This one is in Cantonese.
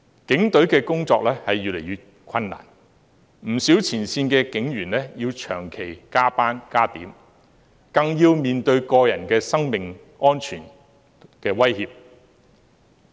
警隊的工作越來越困難，不少前線警員要長期加班加點，更要面對個人的生命安全威脅。